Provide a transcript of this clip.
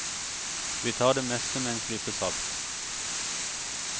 Vi tar det meste med en klype salt.